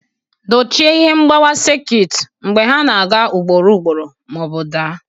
Dochie ihe mgbawa sekit mgbe ha na-aga ugboro ugboro ma ọ bụ daa.